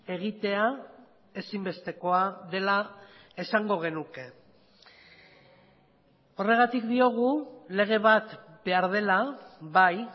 egitea ezinbestekoa dela esango genuke horregatik diogu lege bat behar dela bai